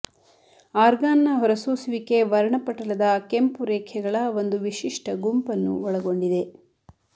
ಆರ್ಗಾನ್ನ ಹೊರಸೂಸುವಿಕೆ ವರ್ಣಪಟಲದ ಕೆಂಪು ರೇಖೆಗಳ ಒಂದು ವಿಶಿಷ್ಟ ಗುಂಪನ್ನು ಒಳಗೊಂಡಿದೆ